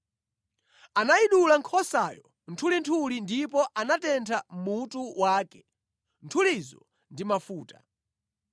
Anayidula nkhosayo nthulinthuli ndipo anatentha mutu wake, nthulizo ndi mafuta.